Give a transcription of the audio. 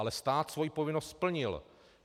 Ale stát svoji povinnost splnil.